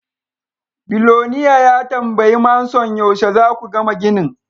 Biloniare ya tambayi Manson yaushe za ku gama ginin.